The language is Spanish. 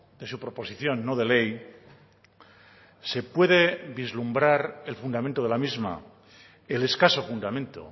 de su proposición no de ley se puede vislumbrar el fundamento de la misma el escaso fundamento